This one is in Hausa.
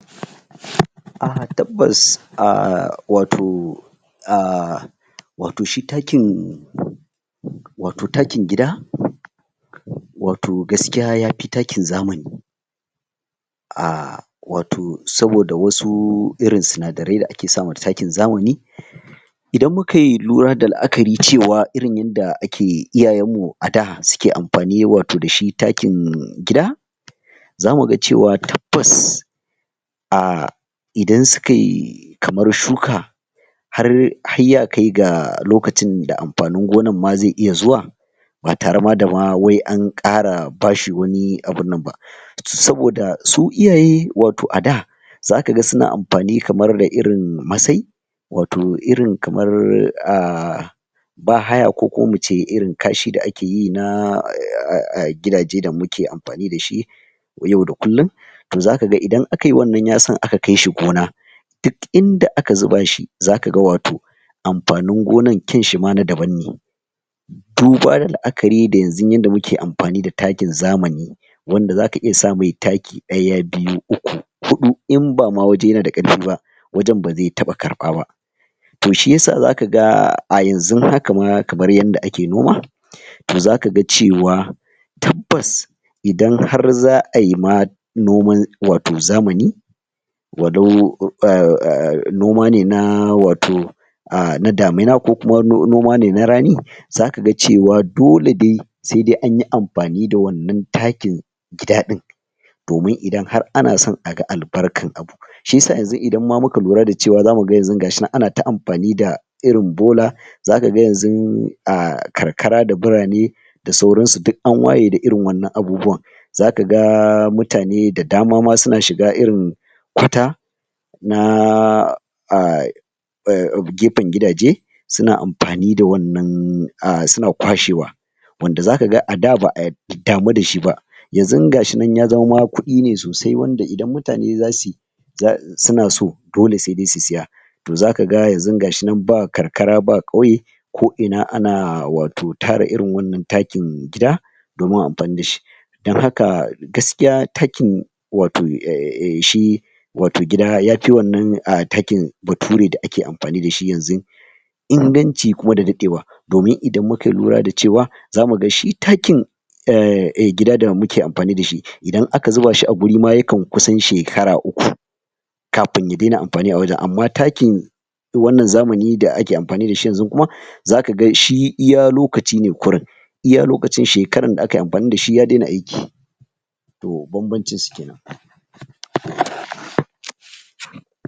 tabbas wato wato shi taakin wato taakin gida, wato gaskiya yafi taakin zamani wato saboda wasu irin sinadarai da ake sama taakin zamani idan mu kai lura da la'akari cewa irin yanda ake iyayanmu adaa suke amfani wato dashi taakin gida zamu ga cewa tabbas idan sukai kamar shuka har ya kai ga lokacin da amfanin gonan ma zai iya zuwa ba tare ma dama wai an kara bashi wani abunnan ba saboda su iyaye wato a daa za kaga suna amfani kamar da irin masai wato irin kamar baa haya ko kuma muce irin kaashi da akeyi na gidaje da muke amfani da shi yau da kullum, za kaga idan akai wannan yasan aka kai shi gona duk inda aka zuba shi zaka ga wato amfanin gonan ƙyanshi ma na daban ne duba da la'akari da yanzu yanda muke amfani da taakin zamani wanda zaka iya sa mai taaki daya, biyu, uku, hutu inba ma waje yana da karfi ba wajan baze taɓa karɓa ba toh shiyasa zaka ga a yanzun haka ma kamar yanda ake noma toh za kaga cewa tabbas idan har za'ayi ma noman wato zamani walau noma ne na wato na damina ko kuma noma ne na rani, za kaga cewa dole dai sedai anyi anfani da wannan taakin gida ɗin domin idan har ana san a ga al barkan abu shisa yanzu idan ma muka lura da cewa za muga yanzu gashi nan ana ta amfani da irin bola za kaga yanzun karkara da burane da sauransu duk an waye da irin wannan abubuwan za kaga mutane da dama ma suna shiga irin kwata na gefen gidaje suna kwashewa wanda za kaga ada ba'a damu dashi ba yanzun gashi ya zama ma kuɗi ne sosai wanda idan mutane za suyi suna so dole sedai su siya, toh za kaga yanzun gash inan ba karkara ba kauye ko ina ana wato tara irin wannan taakin gida domin anfani da shi dan haka gaskiya taakin wato shi wato gida yafi wannan taakin bature da ake anfani dashi yanzun inganci kuma da dadewa, domin idan muka lura da cewa za muga shi taakin gida da muke amfani dashi idan aka zuba shi a guri ma yakan kusan shekara uku kafin ya dena anfani a gurin amma taakin wannan zamani da ake amfani dashi yanzun kuma zaka ga shi iya lokaci ne kurin, iya lokacin shekaran da akayi anfani dashi ya dena aiki toh banbancin su kenan.